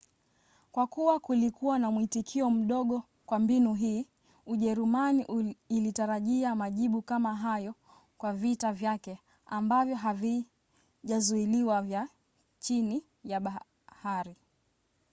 kwa kuwa kulikuwa na mwitikio mdogo kwa mbinu hii ujerumani ilitarajia majibu kama hayo kwa vita vyake ambavyo havijazuiliwa vya chini ya bahari